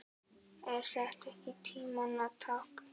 Er þetta ekki tímanna tákn?